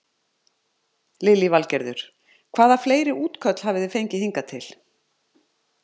Lillý Valgerður: Hvaða fleiri útköll hafi þið fengið hingað til?